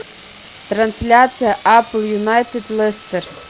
трансляция апл юнайтед лестер